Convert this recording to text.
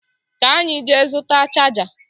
Ka anyị jee zụta chaja